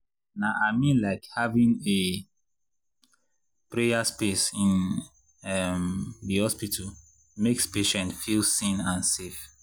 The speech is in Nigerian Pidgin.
na i mean like having a prayer space in um the hospital makes patients feel seen and safe.